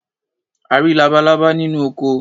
A rí labalábá nínú oko.